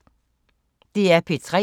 DR P3